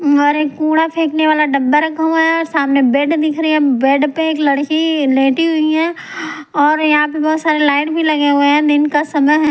और एक कूड़ा फेंकने वाला डब्बा रखा हुआ हैऔर सामने बेड दिख रही है बेड पे एक लड़की लेटी हुई है और यहां पे बहुत सारे लाइन भी लगे हुए हैंदिन का समय हैं।